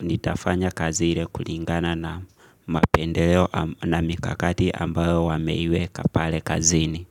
nitafanya kazi ile kulingana na mapendeleo na mikakati ambayo wameiweka pale kazini.